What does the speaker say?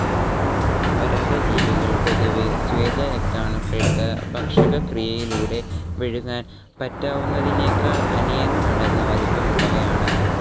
പരാദജീവികൾ പൊതുവേ സ്വേതരക്താണുക്കൾക്ക് ഭക്ഷകക്രിയയിലൂടെ വിഴുങ്ങാൻ പറ്റാവുന്നതിനെക്കാൾ അനേകമടങ്ങ് വലിപ്പമുള്ളവയാണ്.